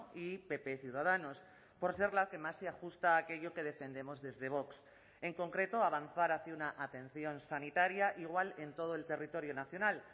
y pp ciudadanos por ser la que más se ajusta a aquello que defendemos desde vox en concreto avanzar hacia una atención sanitaria igual en todo el territorio nacional